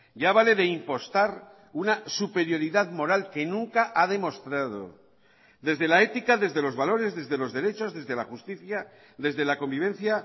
ya vale de impostar una superioridad moral que nunca ha demostrado desde la ética desde los valores desde los derechos desde la justicia desde la convivencia